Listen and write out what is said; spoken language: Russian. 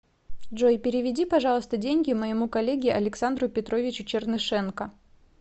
джой переведи пожалуйста деньги моему коллеге александру петровичу чернышенко